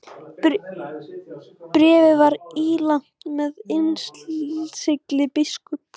Bréfið var ílangt og með innsigli biskups.